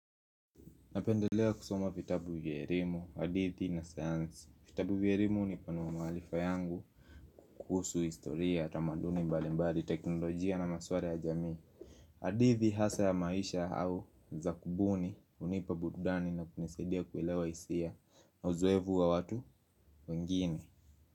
Napendelea kusoma vitabu vya erimu, hadithi na sayansi. Vitabu vya erimu hunipanua maarifa yangu. Kuhusu historia, tamaduni, mbalimbali, teknolojia na maswara ya jamii hadithi hasa ya maisha au za kubuni hunipa burudani na kunisaidia kuelewa hisia na uzoevu wa watu wengine.